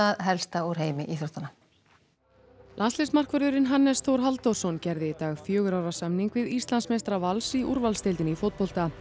helsta úr heimi íþróttanna Hannes Þór Halldórsson gerði í dag fjögurra ára samning við Íslandsmeistara Vals í úrvalsdeildinni í fótbolta